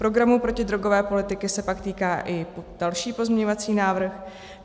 Programu protidrogové politiky se pak týká i další pozměňovací návrh.